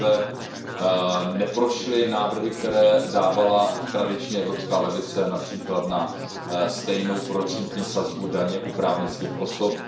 Zaprvé, neprošly návrhy, které dávala tradičně evropská levice, například na stejnou procentní sazbu daně u právnických osob.